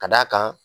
Ka d'a kan